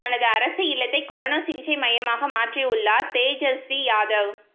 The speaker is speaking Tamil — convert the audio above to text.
தனது அரசு இல்லத்தை கொரோனா சிகிச்சை மையமாக மாற்றியுள்ளார் தேஜஸ்வி யாதவ்